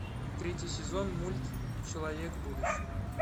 третий сезон мульт человек будущего